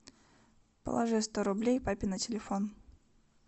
положи сто рублей папе на телефон